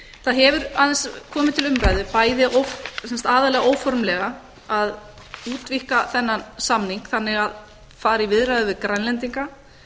það hefur aðeins komið til umræðu aðallega óformlega að útvíkka þennan samning þannig að fara í viðræður við grænlendinga